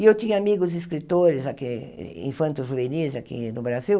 E eu tinha amigos escritores aqui, infanto-juvenis aqui no Brasil,